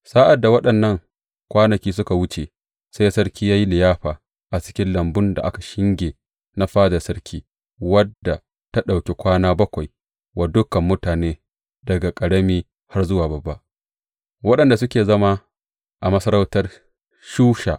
Sa’ad da waɗannan kwanaki suka wuce, sai sarki ya yi liyafa a cikin lambun da aka shinge na fadar sarki wadda ta ɗauki kwana bakwai wa dukan mutane daga ƙarami har zuwa babba, waɗanda suke zama a masarautar Shusha.